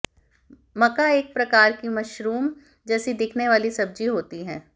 मका एक प्रकार की मशरूम जैसी दिखने वाली सब्जी होती है